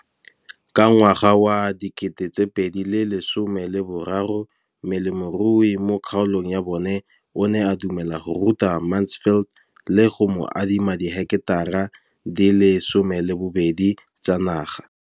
Ka ngwaga wa 2013, molemirui mo kgaolong ya bona o ne a dumela go ruta Mansfield le go mo adima di heketara di le 12 tsa naga.